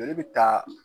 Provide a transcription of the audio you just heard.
Joli bɛ taa